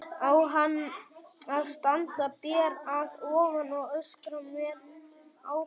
Á hann að standa ber að ofan og öskra menn áfram?